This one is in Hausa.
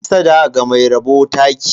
Hassada ga mai rabo taki.